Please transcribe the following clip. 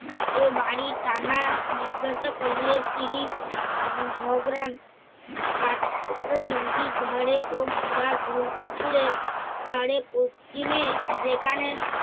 কেও বাড়ি থানা জিজ্ঞাসা করলে তিনি উম ঝগড়া কাঠ-ঠোকরা নদীর ধাঁরে ও মীরার গোলপুকুরে ধরে দক্ষিণে যেখানে